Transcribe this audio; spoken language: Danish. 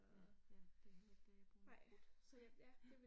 Ja, ja det hele det bulder brudt, ja ja